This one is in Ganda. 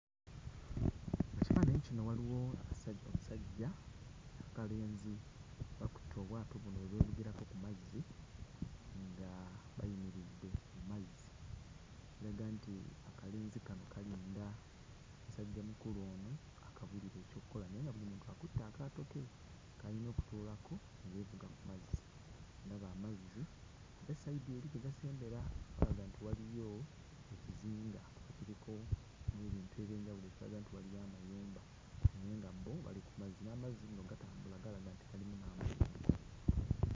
Ekifaananyi kino waliwo akasajja omusajja. Akalenzi kakutte obwato buno obwevugirako ku mazzi nga bayimiridde ku mazzi, ekiraga nti akalenzi kano kalinda musajjamukulu ono akabuulire ekyokkola naye nga buli muntu akutte akaato ke k'ayina okutuulako ne yeevuga ku mazzi. Ndaba amazzi, ate sayidi eri gye gasembera walaga nti waliyo ekizinga ekiriko n'ebintu eby'enjawulo ekiraga nti waliyo amayumba naye nga bo bali ku mazzi. N'amazzi nno gatambula, galaga nti galimu n'amayengo.